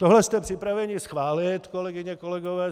Tohle jste připraveni schválit, kolegyně, kolegové.